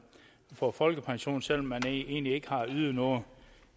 få folkepension selv om man egentlig ikke har ydet noget